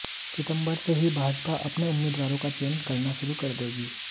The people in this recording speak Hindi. सितंबर से ही भाजपा अपने उम्मीदवारों का चयन करना शुरू कर देगी